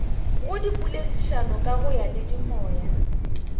go dipoledišano ka go diyalemoya